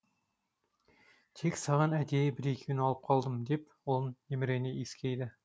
тек саған әдейі бір екеуін алып қалдым деп ұлын емірене иіскейді